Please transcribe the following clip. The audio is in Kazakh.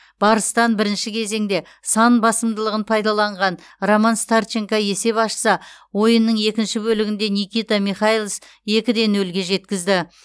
барыстан бірінші кезеңде сан басымдылығын пайдаланған роман старченко есеп ашса ойынның екінші бөлігінде никита михайлис екі де нөлге жеткізді